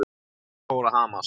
Hjartað fór að hamast.